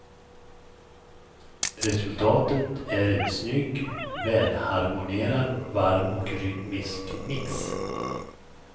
Resultatet är en snygg, välharmonierad, varm och rytmisk mix.